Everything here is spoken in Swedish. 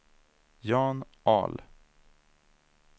Jan Ahl